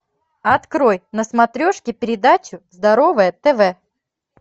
открой на смотрешке передачу здоровое тв